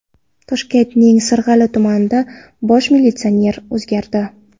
Toshkentning Sirg‘ali tumani bosh militsioneri o‘zgardi.